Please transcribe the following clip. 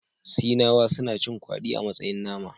Sinawa suna cin kwadi a matsayin nama